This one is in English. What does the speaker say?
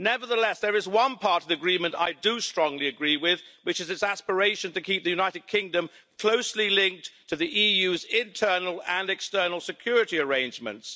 Nevertheless, there is one part of the Withdrawal Agreement I do strongly agree with, which is its aspiration to keep the United Kingdom closely linked to the EU's internal and external security arrangements.